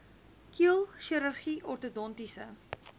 keel chirurgie ortodontiese